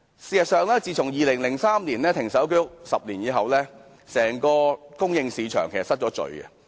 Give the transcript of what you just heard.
事實上 ，2003 年停售居屋後的10年間，整個供應市場失衡。